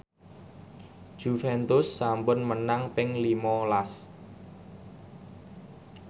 Juventus sampun menang ping lima las